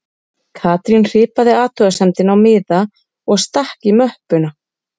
Katrín hripaði athugasemdina á miða og stakk í möppuna